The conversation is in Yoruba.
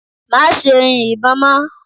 Má ṣe yin ìbọn mọ́!